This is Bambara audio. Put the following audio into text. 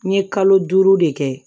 N ye kalo duuru de kɛ